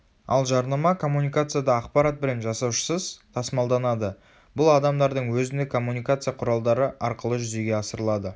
ал жарнама коммуникацияда ақпарат бренд жасаушысыз тасымалданады бұл адамдардың өзіндік коммуникация құралдары арқылы жүзеге асырылады